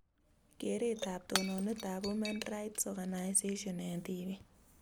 Kereetab tononetab women rights organisation eng tibiik